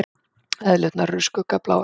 Eðlurnar eru skuggabláar.